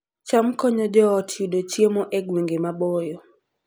cham konyo joot yudo chiemo e gwenge maboyo